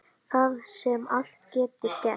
Þar sem allt getur gerst.